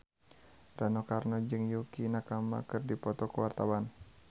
Rano Karno jeung Yukie Nakama keur dipoto ku wartawan